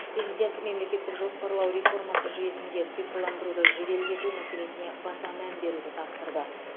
президент мемлекеттік жоспарлау реформасы жүйесінде цифрландыруды жеделдету мәселесіне баса мән беруді тапсырды